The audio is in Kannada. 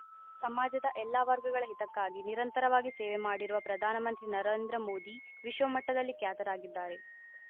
ಸಮಾಜದ ಎಲ್ಲ ವರ್ಗಗಳ ಹಿತಕ್ಕಾಗಿ ನಿರಂತರವಾಗಿ ಸೇವೆ ಮಾಡಿರುವ ಪ್ರಧಾನ ಮಂತ್ರಿ ನರೇಂದ್ರಮೋದಿ ವಿಶ್ವಮಟ್ಟದಲ್ಲಿ ಖ್ಯಾತರಾಗಿದ್ದಾರೆ